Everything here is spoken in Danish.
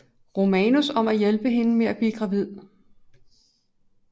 Romanus om at hjælpe hende med at blive gravid